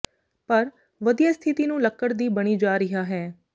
ਪਰ ਵਧੀਆ ਸਥਿਤੀ ਨੂੰ ਲੱਕੜ ਦੀ ਬਣੀ ਜਾ ਰਿਹਾ ਹੈ